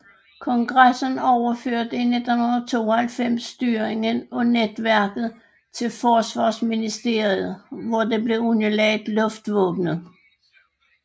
Kongressen overførte i 1992 styringen af netværket til Forsvarsministeriet hvor det blev underlagt luftvåbnet